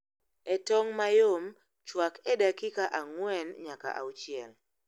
E tong' mayom, chwak e dakika ang'wen nyaka auchiel